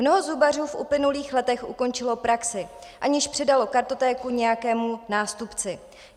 Mnoho zubařů v uplynulých letech ukončilo praxi, aniž předalo kartotéku nějakému nástupci.